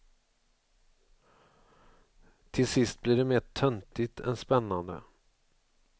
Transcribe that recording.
Till sist blir det mer töntigt än spännande.